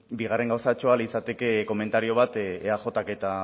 bigarren gauzatxoa litzateke komentario bat eajk eta